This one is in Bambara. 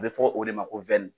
A bɛ fɔ o de ma ko